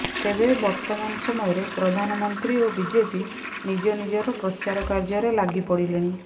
ତେବେ ବର୍ତ୍ତମାନ ସମୟରେ ପ୍ରଧାନମନ୍ତ୍ରୀ ଓ ବିଜେପି ନିଜ ନିଜର ପ୍ରଚାର କାର୍ଯ୍ୟରେ ଲାଗି ପଡିଲେଣି